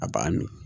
A b'a mi